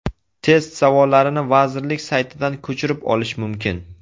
Test savollarini vazirlik saytidan ko‘chirib olish mumkin.